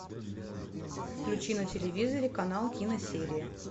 включи на телевизоре канал киносерия